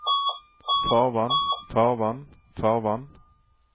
farvann farvann farvann